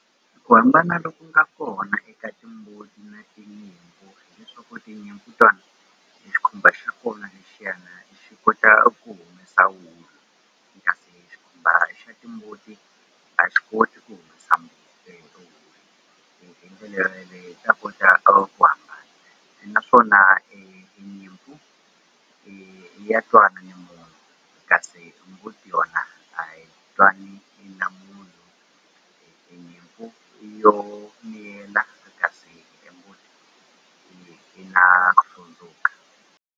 Ku hambana loku nga kona eka timbuti na tinyimpfu tinyimpfu tona e xikhumba xa kona lexiyana xi kota ku humesa wulu xikhumba xa timbuti a xi koti ku humesa hi ndlela yo yoleyo ta kota ku hambana naswona nyimpfu ya twana ni munhu kasi mbuti yona a twani na munhu nyimpfu yo tsundzuka.